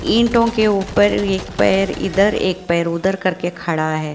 ईटों के ऊपर भी एक पैर इधर एक पैर उधर करके खड़ा है।